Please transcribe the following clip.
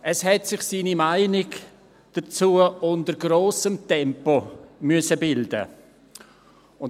Es hat sich seine Meinung dazu unter hohem Tempo bilden müssen.